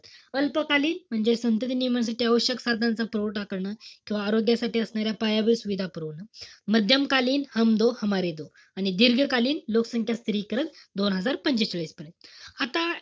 अल्पकालीन म्हणजे संतती नियमनाची आवश्यक साधनांचा पुरवठा करणं. किंवा आरोग्यासाठी असणाऱ्या पायाभूत सुविधा पुरवणं. मध्यमकालीन आणि दीर्घकालीन, लोकसंख्या स्थिरीकरण, दोन हजार पंचेचाळीस पर्यंत. आता,